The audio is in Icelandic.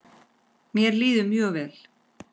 Mér líður mjög vel.